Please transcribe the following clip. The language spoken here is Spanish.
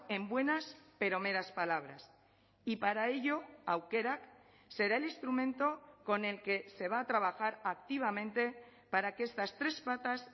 en buenas pero meras palabras y para ello aukerak será el instrumento con el que se va a trabajar activamente para que estas tres patas